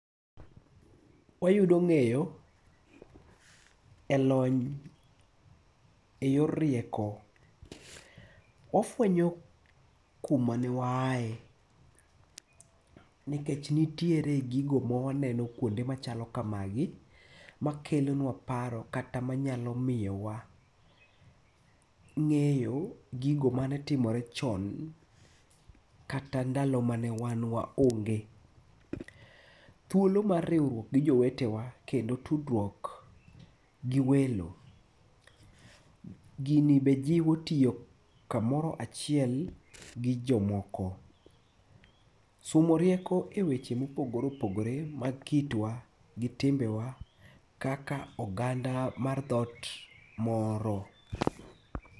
Wayudo ng'eyo e lony e yor rieko. Ofwenyo kuma ne waaye, nikech nitiere gigo ma waneno kuonde machalo kamagi, makelo nwa paro kata manyalo miyo wa ng'eyo gigo mane timore chon, kata ndalo mane wan waonge. Thuolo mar riwruok gi jowetewa kendo tudruok gi welo. Gini be jiwo tiyo kamoro achiel gi jomoko. Somo rieko e weche mopogore opogore ma kitwa gi timbewa kaka oganda mar dhoot moro.